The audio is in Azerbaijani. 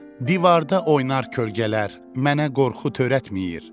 Divarda oynar kölgələr mənə qorxu törətmir.